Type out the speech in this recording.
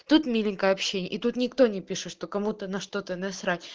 тут миленькое общение и тут никто не пишет что кому-то на что-то насрать